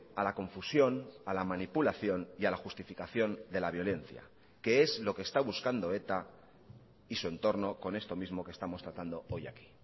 a la confusión a la manipulación y a la justificación de la violencia que es lo que está buscando eta y su entorno con esto mismo que estamos tratando hoy aquí